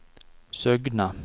Søgne